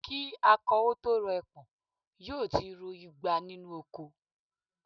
Kí akọ ó tó rọ ẹpọ̀n, yóò ti ro igba nínú oko